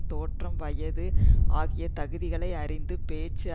தோற்றம் வயது ஆகிய தகுதிகளை அறிந்து பேச்சு